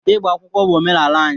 Ịgba akwụkwọ bụ omenala anyị